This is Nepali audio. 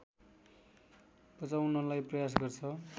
बचाउनलाई प्रयास गर्छ